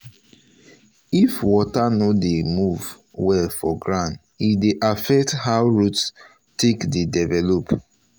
if water no dey dey move well for ground e dey affect how root take dey develop.